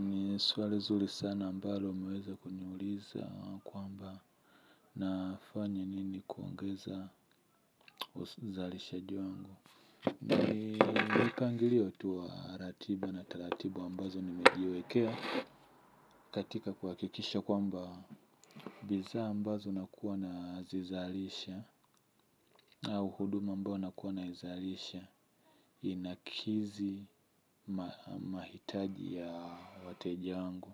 Ni suali zuri sana ambalo umeweza kuniuliza kwamba nafanya nini kuongeza uzalishaji wangu. Ni mipangilio tu wa ratiba na taratibu ambazo nimejiwekea katika kuhakikisha kwamba Biza ambazo nakuwa na zizalisha au huduma ambao nakuwa naizalisha inakizi mahitaji ya wateja wangu.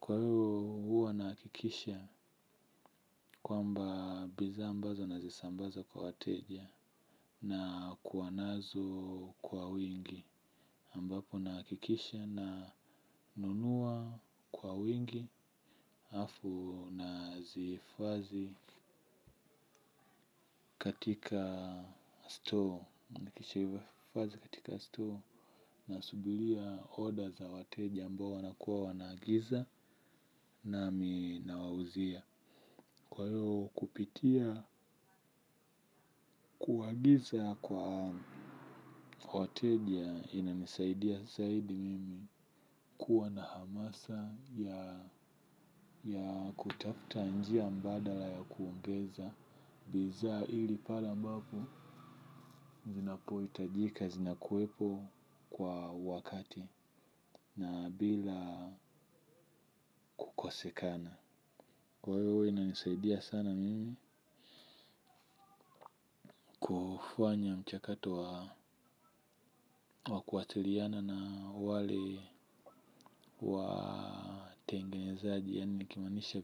Kwa hiyo huwa nahakikisha kwamba bidhaa ambazo nazisambaza kwa wateja nakuwa nazo kwa wingi ambapo nahakikisha na nunua kwa wingi afu nazi hifadhi katika store. Nahakikisha huwa fazi katika store na subiria order za wateja ambao wanakuwa wanagiza nami nawauzia. Kwa iyo kupitia kuagiza kwa hoteli ya ina nisaidia zaidi mimi kuwa na hamasa ya kutafta njia mbadala ya kuongeza bidhaa ili pale ambapo zinapo itajika zinakuepo kwa wakati na bila kukosekana. Kwa hivo ina nisaidia sana mimi kufanya mchakato wa kuatiriana na wale wa tengenzaji yaani nikimanisha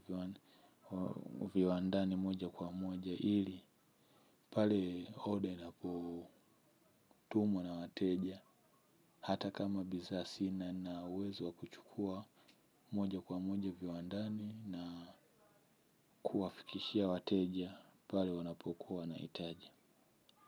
viwandani moja kwa moja ili pale order inapo tumwa na wateja hata kama bidhaa sina nna uwezo wa kuchukua moja kwa moja viwandani na kuwafikishia wateja pale wanapokuwa na hitaji.